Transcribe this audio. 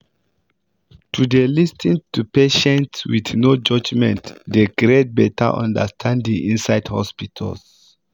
to dey lis ten to patients with no judgement dey create better understanding inside hospitals